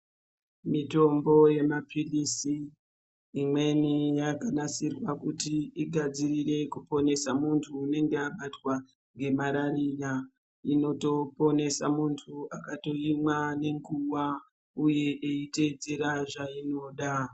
Mitombo imweni yemapilizi yakanasirwa kuti imweni igadzirire kuponesa muntu unenge abatwa ngemalariya. Inotoponesa muntu akaimwa nenguwa uye eyitedzera zvainoda.